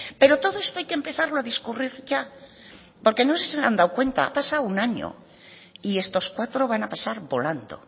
pero todo esto hay que empezarlo a discurrir ya lo que no sé si se han dado cuenta ha pasado un año y estos cuatro van a pasar volando